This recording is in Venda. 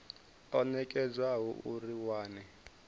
o nekedzwaho uri a wane